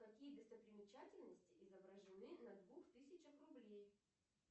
какие достопримечательности изображены на двух тысячах рублей